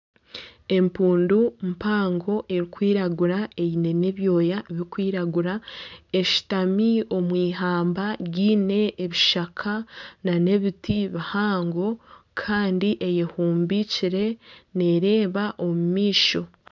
Empundu mpango erikwiragura eyine n'ebyoya birikwiragura eshutami omwihamba ryine ebishaka n'ebiti bihango Kandi eyehumbikire nereeba omumaisho.